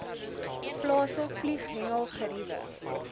plase vlieghengel geriewe